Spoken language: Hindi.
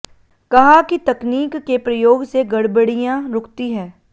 कहा कि तकनीक के प्रयोग से गड़बड़ियां रूकती है